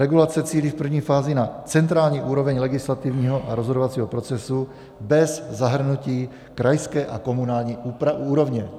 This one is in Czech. Regulace cílí v první fázi na centrální úroveň legislativního a rozhodovacího procesu bez zahrnutí krajské a komunální úrovně.